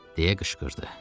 Deyə qışqırdı.